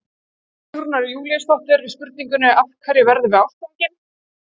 Í svari Sigrúnar Júlíusdóttur við spurningunni Af hverju verðum við ástfangin?